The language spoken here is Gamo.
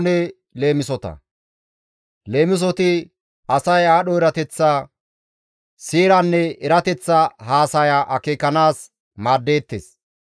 Leemisoti asay aadho erateththa, seeranne erateththa haasaya akeekanaas maaddeettes.